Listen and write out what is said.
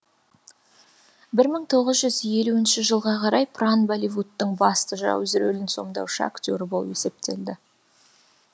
бір мың елуінші жылға қарай пран болливудтың басты жауыз рөлін сомдаушы актері болып есептелді